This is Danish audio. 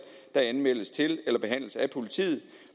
der anmeldes til eller behandles af politiet